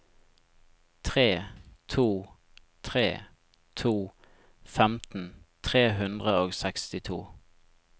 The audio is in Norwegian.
tre to tre to femten tre hundre og sekstito